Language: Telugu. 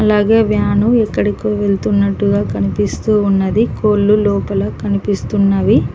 అలాగే వ్యాను ఎక్కడికో వెళ్తున్నట్టుగా కనిపిస్తూ ఉన్నది కోళ్లు లోపల కనిపిస్తున్నవి.